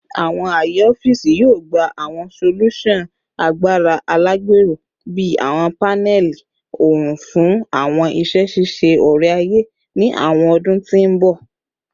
Awọn aaye ọfiisi yoo gba awọn solusan agbara alagbero bii awọn panẹli oorun fun awọn iṣẹ ṣiṣe ore-aye ni awọn ọdun ti n bọ